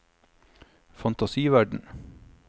fantasiverden